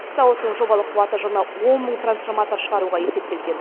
зауыттың жобалық қуаты жылына он мың трансформатор шығаруға есептелген